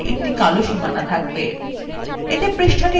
এতে পৃষ্ঠাটি দেখতে আরো আকর্ষনীয় লাগে